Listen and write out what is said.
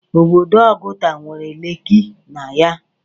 Obodo Ọgụta nwere Leeki na ya.